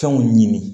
Fɛnw ɲini